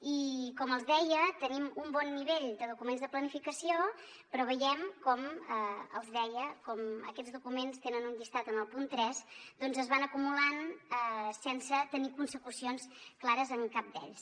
i com els deia tenim un bon nivell de documents de planificació però veiem com aquests documents en tenen un llistat en el punt tres doncs es van acumulant sense tenir consecucions clares en cap d’ells